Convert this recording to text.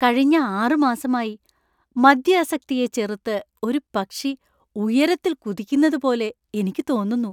കഴിഞ്ഞ ആറ് മാസമായി മദ്യാസക്തിയെ ചെറുത്ത് ഒരു പക്ഷി ഉയരത്തിൽ കുതിക്കുന്നതുപോലെ എനിക്ക് തോന്നുന്നു.